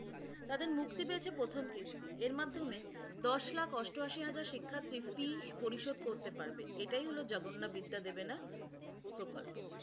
তাদের মুক্তি পেয়েছে প্রথম কিস্তি। এর মাধ্যমে দশ লাখ অষ্টআশি হাজার শিক্ষার্থী ফিস পরিশোধ করতে পারবে। এটাই এটাই হলো জগন্নাবিদ্যাদেবেনা প্রকল্প।